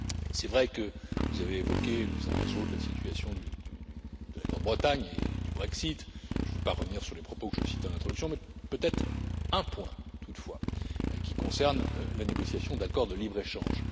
C'est vrai que vous avez évoqué les uns et les autres la situation de la Grande Bretagne et du Brexit. Je ne veux pas revenir sur les propos que je cite en introduction, mais peut être un point toutefois, qui concerne la négociation d'accords de libre échange.